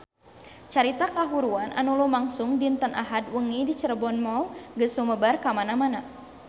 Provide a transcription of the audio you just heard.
Carita kahuruan anu lumangsung dinten Ahad wengi di Cirebon Mall geus sumebar kamana-mana